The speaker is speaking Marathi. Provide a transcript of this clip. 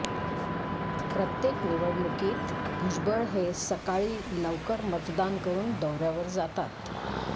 प्रत्येक निवडणुकीत भुजबळ हे सकाळी लवकर मतदान करून दौऱ्यावर जातात